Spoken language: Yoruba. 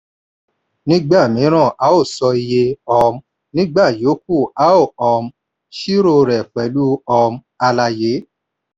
nígbà míràn a sọ iye; um nígbà yòókù a um ṣírò rẹ pẹ̀lú um àlàyé.